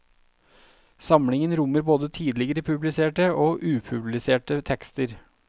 Samlingen rommer både tidligere publiserte og upubliserte tekster.